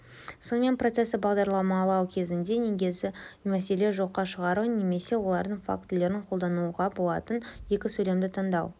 сонымен процесті бағдарламалау кезіндегі негізгі мәселе жоққа шығару немесе олардың фактілерін қолдануға болатын екі сөйлемді таңдау